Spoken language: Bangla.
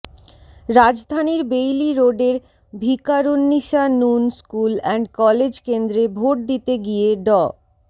রাজধানীর বেইলি রোডের Viqarunnisa Noon school and college কেন্দ্রে ভোট দিতে গিয়ে ড